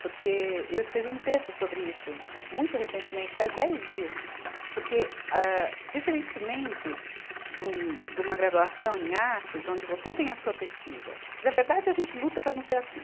porque eu escrevi um texto sobre isso, re, muito recentemente, faz dez dias, porque, ah, diferentemente de uma graduação em artes, onde você tem a sua pesquisa, que, na verdade, a gente luta para não ser assim.